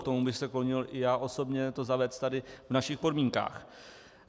K tomu bych se klonil i já osobně, zavést to tady v našich podmínkách.